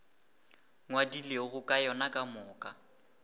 ngwadilego ka yona ka moka